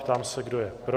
Ptám se, kdo je pro?